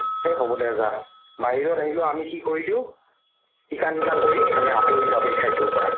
এ হ'ব দে যা বাহিৰত আহিলেও আমি কি কৰি দিও ই কান সি কান কৰি আমি আতৰি যাও সেই ঠাইটোৰ পৰা